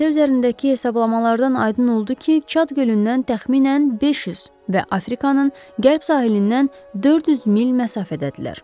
Xəritə üzərindəki hesablamalardan aydın oldu ki, Çad gölündən təxminən 500 və Afrikanın qərb sahilindən 400 mil məsafədədirlər.